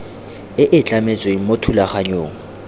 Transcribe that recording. e e tlametsweng mo thulaganyong